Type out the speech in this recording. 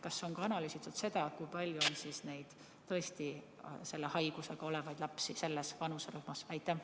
Kas on analüüsitud seda, kui palju on selle haigusega lapsi selles vanuserühmas?